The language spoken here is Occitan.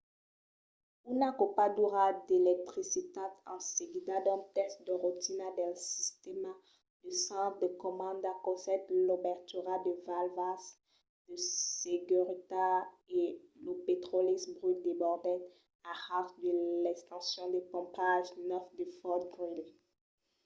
una copadura d’electricitat en seguida d'un test de rotina del sistèma de centre de comanda causèt l'obertura de valvas de seguretat e lo petròli brut desbordèt a ras de l’estacion de pompatge 9 de fort greely